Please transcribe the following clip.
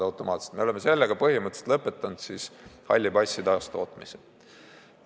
Selle tulemusena oleme halli passi taastootmise põhimõtteliselt lõpetanud.